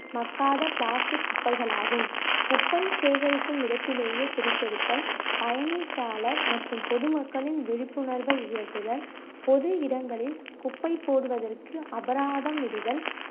மக்காத plastic குப்பைகளாகும் குப்பை சேகரிக்கும் இடத்திலேயே பிரித்தெடுத்தல் பயணித்தாளர் மற்றும் பொதுமக்களின் விழிப்புணர்வை உயர்த்துதல் பொது இடங்களில் குப்பை போடுவதற்கு அபராதம் இடுதல்